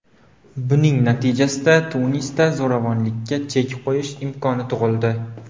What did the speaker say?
Buning natijasida Tunisda zo‘ravonliklarga chek qo‘yish imkoni tug‘ildi”.